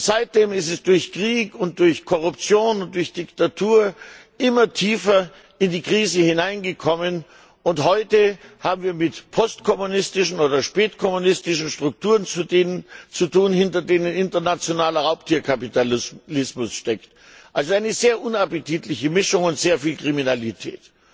Seitdem ist es durch Krieg, Korruption und Diktatur immer tiefer in die Krise hineingekommen, und heute haben wir es mit postkommunistischen oder spätkommunistischen Strukturen zu tun, hinter denen internationaler Raubtierkapitalismus steckt also eine sehr unappetitliche Mischung und sehr viel Kriminalität.